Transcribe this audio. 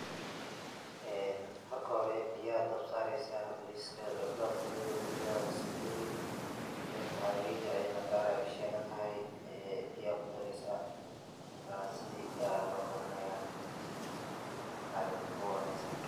Ee marka hori beeyaha dabka sareysah barikatha basboot kurithi baris Aya kurithi ee maharageyda kaar Aya u shelantahay ee biya kudireysah markas sethi lokarinaya.